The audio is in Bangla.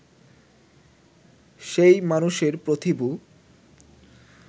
সেই মানুষের প্রতিভূ